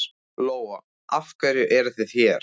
Lóa: Af hverju eruð þið hér?